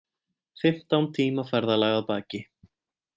Fimmtán tíma ferðalag að baki